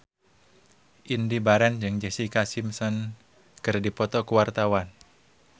Indy Barens jeung Jessica Simpson keur dipoto ku wartawan